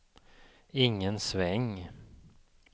ingen sväng